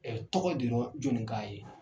Ɛɛ tɔgɔ ye Deniwa Jonika ye.